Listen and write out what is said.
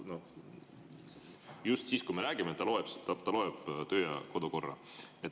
Just praegu, kui me räägime, ta loeb töö‑ ja kodukorda.